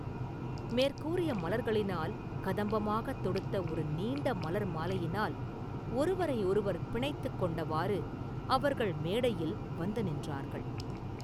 மேற்கூறிய மலர்களினால் கதம்பமாகத் தொடுத்த ஒரு நீண்ட மலர் மாலையினால் ஒருவரையொருவர் பிணைத்துக் கொண்டவாறு, அவர்கள் மேடையில் வந்து நின்றார்கள்.